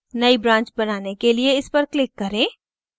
नई branch बनाने के लिए इस पर click करें